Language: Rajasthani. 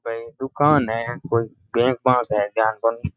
ये दूकान है कोई बैंक पास है या बंद।